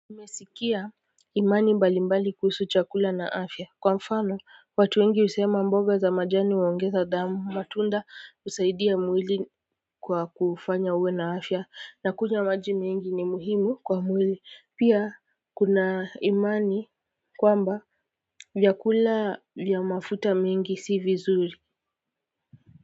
Nimesikia imani mbali mbali kuhusu chakula na afya. Kwa mfano, watu wengi husema mboga za majani huongeza damu matunda husaidia mwili kwa kufanya uwe na afya na kunywa maji mengi ni muhimu kwa mwili. Pia kuna imani kwamba vyakula vya mafuta mengi si vizuri.